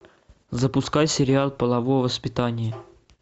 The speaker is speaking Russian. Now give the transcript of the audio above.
запускай сериал половое воспитание